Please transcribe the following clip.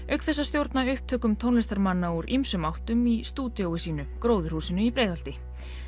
auk þess að stjórna upptökum tónlistarmanna úr ýmsum áttum í stúdíói sínu gróðurhúsinu í Breiðholti